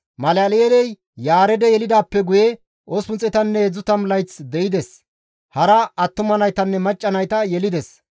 Malal7eeley Yaareede yelidaappe guye 830 layth de7ides; hara attuma naytanne macca nayta yelides.